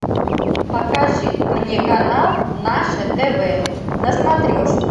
покажи мне канал наше тв на смотрешке